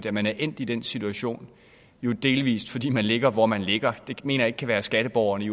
at man er endt i den situation delvis fordi man jo ligger hvor man ligger det mener jeg ikke kan være skatteborgerne i